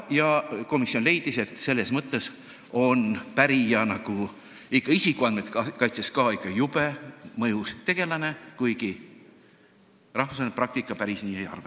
Ja komisjon leidis, et pärija on ka isikuandmete kaitse mõttes jube mõjus tegelane, kuigi rahvusvaheline praktika päris nii ei arva.